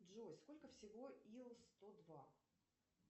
джой сколько всего ил сто два